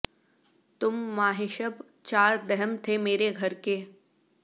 تم ماہ شب چار دہم تھے مرے گھر کے